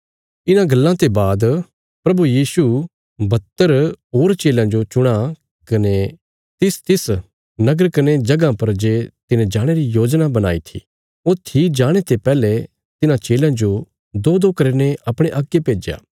इन्हां गल्लां ते बाद प्रभु यीशु बहत्तर होर चेलयां जो चुणां कने तिसतिस नगर कने जगहां पर जे तिने जाणे री योजना बणाई थी ऊथी जाणे ते पैहले तिन्हां चेलयां जो दोदो करीने अपणे अग्गे भेज्या